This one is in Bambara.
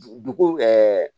Dugu